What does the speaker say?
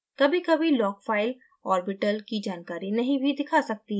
कभीकभी log file orbital की जानकारी नहीं भी दिखा सकती है